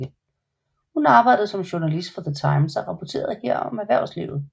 Hun arbejdede som journalist for The Times og rapporterede her om erhvervslivet